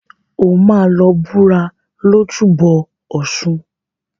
O máa lọ búra lójúbọ ọ̀ṣun.